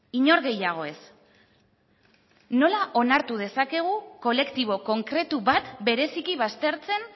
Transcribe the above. inor gehiago ez nola onartu dezakegu kolektibo konkretu bat bereziki baztertzen